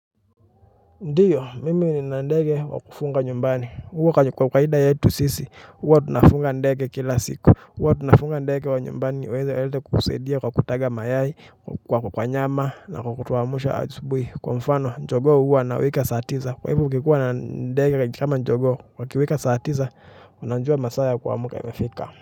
Ndiyo, mimi nina ndege wa kufuga nyumbani, huwa kwa kawaida yetu sisi, huwa tunafuga ndege kila siku, huwa tunafuga ndege wa nyumbani waweze kusaidia kwa kutaga mayai, kwa nyama na kutuamsha asubuhi, kwa mfano jogoo huwa anawika saa tisa kwa hivo ukikuwa na ndege kama jogoo wakiwika saa tisa unajua masaa ya kuamka imefika.